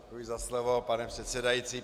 Děkuji za slovo, pane předsedající.